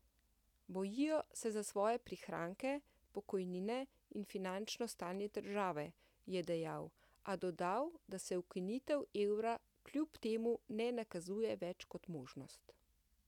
Bojijo se za svoje prihranke, pokojnine in finančno stanje države, je dejal, a dodal, da se ukinitev evra kljub temu ne nakazuje več kot možnost.